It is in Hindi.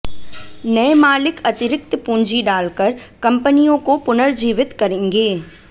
नए मालिक अतिरिक्त पूंजी डालकर कंपनियों को पुनर्जीवित करेंगे